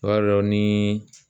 O b'a dɔn nii